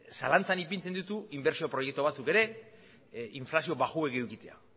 zalantzan ipintzen ditu inbertsio proiektu batzuk ere inflazioa baxua edukitzeak